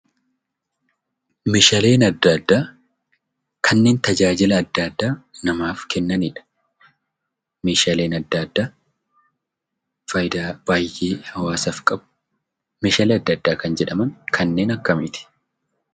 Meeshaaleen adda addaa kanneen tajaajila adda addaa namaaf kennanidha. Meeshaaleen adda addaa faayidaa baay'ee hawaasaaf qabu. Meeshaalee adda addaa kan jedhaman kanneen akkamiiti?